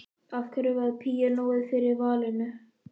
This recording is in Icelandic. Af hverju varð píanóið fyrir valinu?